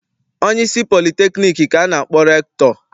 Onyeisi politekniik ka a na-akpọ rektọ.